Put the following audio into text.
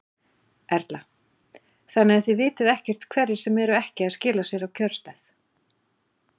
Erla: Þannig að þið vitið ekkert hverjir sem eru ekki að skila sér á kjörstað?